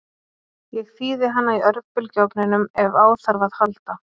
Ég þíði hana í örbylgjuofninum ef á þarf að halda.